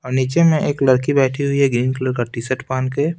और नीचे में एक लड़की बैठी हुई है ग्रीन कलर का टी-शर्ट पहन के--